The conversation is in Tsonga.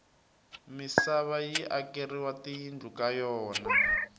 misava yi akeriwa tiyindlu ka yona